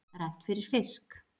Rennt fyrir fisk.